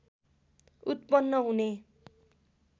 उत्पन्न हुने